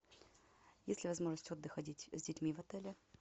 есть ли возможность отдыха с детьми в отеле